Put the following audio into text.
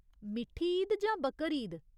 मिट्ठी ईद जां बकरीद ?